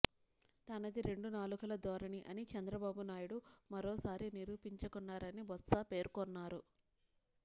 తనది రెండు నాలుకల ధోరణి అని చంద్రబాబు నాయుడు మరోసారి నిరూపించుకున్నారని బొత్స పేర్కొన్నారు